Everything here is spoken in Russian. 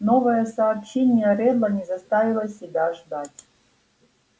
новое сообщение реддла не заставило себя ждать